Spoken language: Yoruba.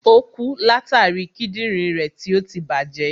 Ò kú látàri Kídìnrín rẹ̀ tí ọtí tí bàjẹ́.